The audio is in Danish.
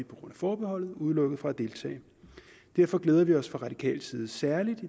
forbeholdet udelukket fra at deltage derfor glæder vi os fra radikales side særligt